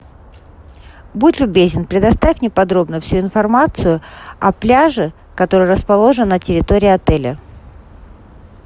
будь любезен предоставь мне подробно всю информацию о пляже который расположен на территории отеля